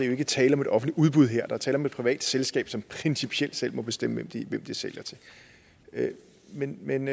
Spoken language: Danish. jo ikke tale om et offentligt udbud her der er tale om et privat selskab som principielt selv må bestemme hvem de sælger til men men